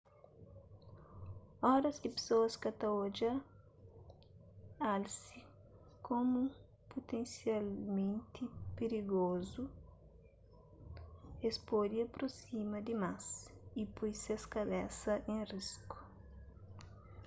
oras ki pesoas ka ta odja alse komu putensialmenti pirigozu es pode aprosima dimás y poi ses kabesa en risku